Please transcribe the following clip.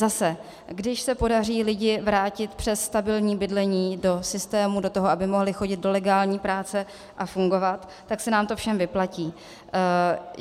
Zase když se podaří lidi vrátit přes stabilní bydlení do systému, do toho, aby mohli chodit do legální práce a fungovat, tak se nám to všem vyplatí.